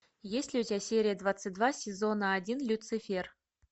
есть ли у тебя серия двадцать два сезона один люцифер